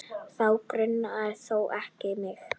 Þá grunar þó ekki mig?